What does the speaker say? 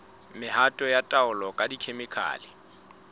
mehato ya taolo ka dikhemikhale